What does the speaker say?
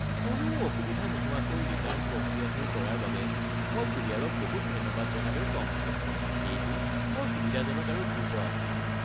কোনো অসুবিধা নোহোৱাকৈ ৰিটাৰ্ণ প্ৰক্ৰিয়াটো কৰাৰ বাবে মই কোৰিয়াৰক বহুত ধন্যবাদ জনালেওঁ কম হ’ব; এইটো বৰ সুবিধাজনক আৰু দ্ৰুত আছিল।